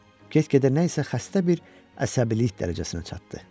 Get-gedə nə isə xəstə bir əsəbilik dərəcəsinə çatdı.